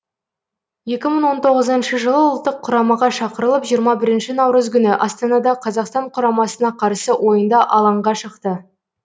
екі мың он тоғызыншы жылы ұлттық құрамаға шақырылып жиырма бірінші наурыз күні астанада қазақстан құрамасына қарсы ойында алаңға шықты